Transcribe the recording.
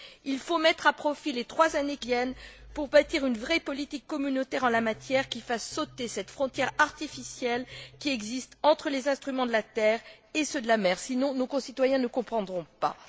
Il faut mettre à profit les trois années qui viennent pour bâtir une vraie politique communautaire en la matière qui fasse sauter cette frontière artificielle qui existe entre les instruments de la terre et ceux de la mer, sinon nos concitoyens ne comprendront pas.